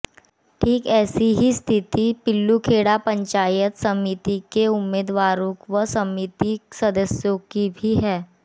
ठीक ऐसी ही स्थिति पिल्लूखेड़ा पंचायत समिति के उम्मीदवारों व समिति सदस्यों की भी है